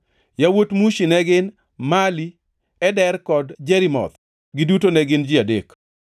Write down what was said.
Yawuot Mushi ne gin: Mali, Eder kod Jerimoth, giduto ne gin ji adek.